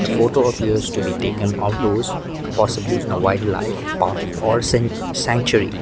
photo appears to be taken outdoors possibly in a wildlife park or san sanctuary.